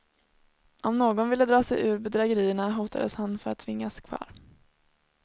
Om någon ville dra sig ur bedrägerierna hotades han för att tvingas kvar.